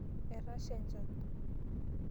Etasha enchan.